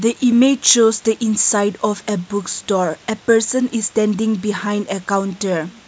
image shows inside of a bookstore a person is standing behind a counter.